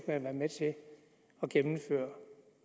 været med til at gennemføre i